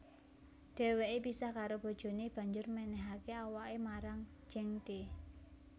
Dheweke pisah karo bojone banjur menehake awake marang Zhengde